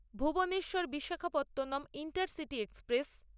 Bhuvneshwar Visakhapatnam intercity express